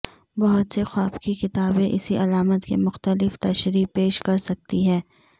بہت سے خواب کی کتابیں اسی علامت کے مختلف تشریح پیش کر سکتی ہیں